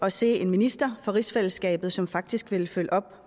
at se en minister for rigsfællesskabet som faktisk ville følge op